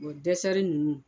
O dɛsɛri nunnu